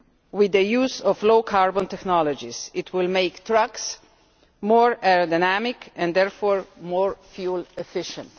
With the use of low-carbon technologies it will make trucks more aerodynamic and therefore more fuel-efficient.